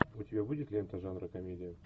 у тебя будет лента жанра комедия